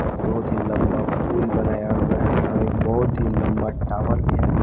बहुत ही लंबा पुल बनाया हुआ है और एक बहुत ही लंबा टावर भी है।